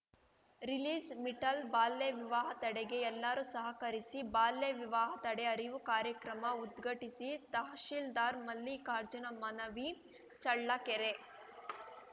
ರಿಲೀಸ್‌ಮಿಟಲ್‌ಬಾಲ್ಯವಿವಾಹ ತಡೆಗೆ ಎಲ್ಲರೂ ಸಹಕರಿಸಿ ಬಾಲ್ಯವಿವಾಹ ತಡೆ ಅರಿವು ಕಾರ್ಯಕ್ರಮ ಉದ್ಘಟಿಸಿ ತಹಶೀಲ್ದಾರ್‌ ಮಲ್ಲಿಕಾರ್ಜುನ ಮನವಿ ಚಳ್ಳಕೆರೆ